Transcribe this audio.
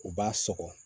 U b'a sɔgɔ